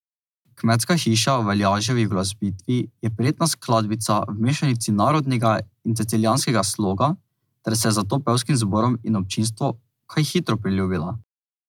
Kmetska hiša v Aljaževi uglasbitvi je prijetna skladbica v mešanici narodnega in cecilijanskega sloga ter se je zato pevskim zborom in občinstvu kaj hitro priljubila.